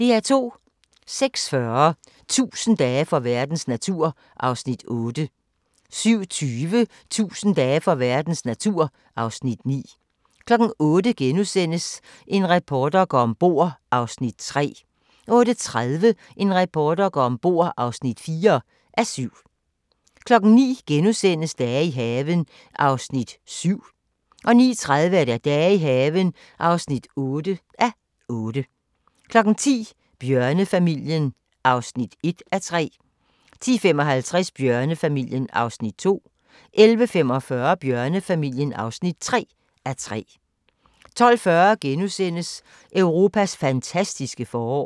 06:40: 1000 dage for verdens natur (Afs. 8) 07:20: 1000 dage for verdens natur (Afs. 9) 08:00: En reporter går om bord (3:7)* 08:30: En reporter går om bord (4:7) 09:00: Dage i haven (7:8)* 09:30: Dage i haven (8:8) 10:00: Bjørnefamilien (1:3) 10:55: Bjørnefamilien (2:3) 11:45: Bjørnefamilien (3:3) 12:40: Europas fantastiske forår *